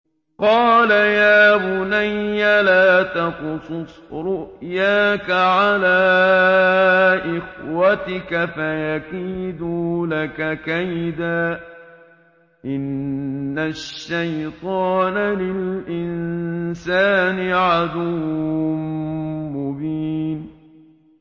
قَالَ يَا بُنَيَّ لَا تَقْصُصْ رُؤْيَاكَ عَلَىٰ إِخْوَتِكَ فَيَكِيدُوا لَكَ كَيْدًا ۖ إِنَّ الشَّيْطَانَ لِلْإِنسَانِ عَدُوٌّ مُّبِينٌ